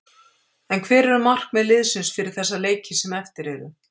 En hver eru markmið liðsins fyrir þessa leiki sem eftir eru?